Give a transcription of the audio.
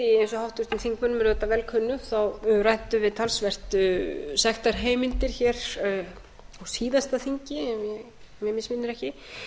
og háttvirtum þingmönnum er auðvitað vel kunnugt þá ræddum við talsvert sektarheimildir á síðasta þingi ef mig misminnir ekki ætlunin